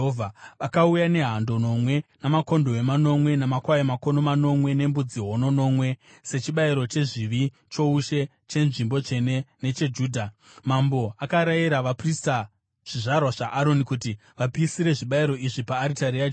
Vakauya nehando nomwe, makondobwe manomwe, namakwai makono manomwe nembudzi hono nomwe sechibayiro chezvivi choushe, chenzvimbo tsvene necheJudha. Mambo akarayira vaprista, zvizvarwa zvaAroni kuti vapisire zvibayiro izvi paaritari yaJehovha.